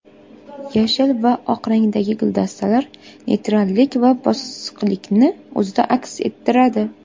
Yashil va oq rangdagi guldastalar neytrallik va bosiqlikni o‘zida aks ettiradi.